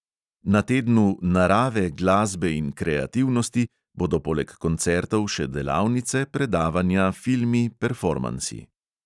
Na tednu "narave, glasbe in kreativnosti" bodo poleg koncertov še delavnice, predavanja, filmi, performansi.